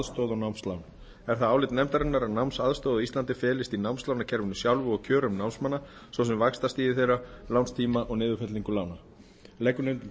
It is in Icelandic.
námsaðstoð og námslán er það álit nefndarinnar að námsaðstoð á íslandi felist í námslánakerfinu sjálfu og kjörum námslána svo sem vaxtastigi þeirra lánstíma og niðurfellingu lána leggur nefndin því